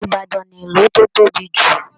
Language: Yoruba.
Ibadan ni ìlú tó tóbi jù.